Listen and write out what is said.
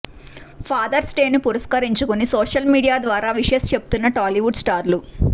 fathers డేను పురష్కరించుకుని social media ద్వారా విషెస్ చెబుతోన్న టాలీవుడ్ స్టార్లు